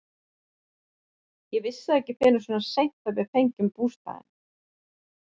Ég vissi það ekki fyrr en svona seint að við fengjum bústaðinn.